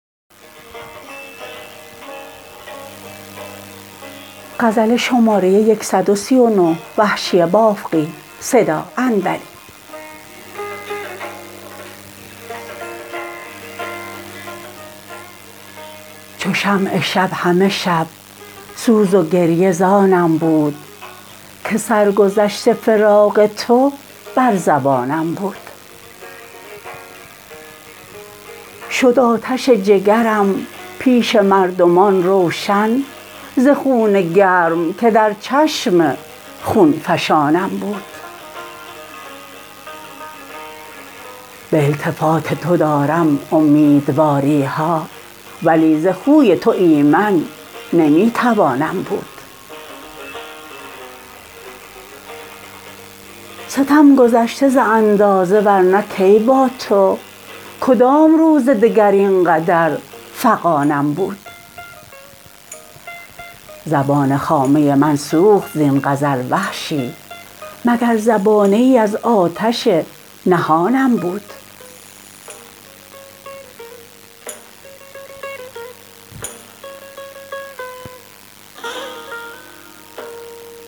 چو شمع شب همه شب سوز و گریه زانم بود که سرگذشت فراق تو بر زبانم بود شد آتش جگرم پیش مردمان روشن ز خون گرم که در چشم خونفشانم بود به التفات تو دارم امیدواریها ولی ز خوی تو ایمن نمی توانم بود ستم گذشته ز اندازه ورنه کی با تو کدام روز دگر اینقدر فغانم بود زبان خامه من سوخت زین غزل وحشی مگر زبانه ای از آتش نهانم بود